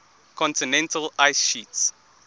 continental ice sheets